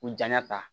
U janya ta